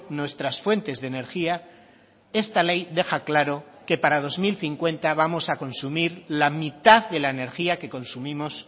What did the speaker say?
nuestras fuentes de energía esta ley deja claro que para dos mil cincuenta vamos a consumir la mitad de la energía que consumimos